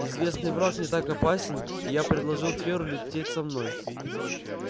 известный враг не так опасен и я предложил тверу лететь со мной